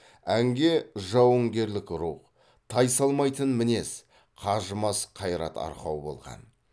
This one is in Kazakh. әнге жауынгерлік рух тайсалмайтын мінез қажымас қайрат арқау болған